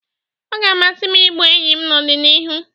Ọ ga-amasị m igbu enyi n'ọdịnihu